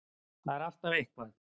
Það var alltaf eitthvað.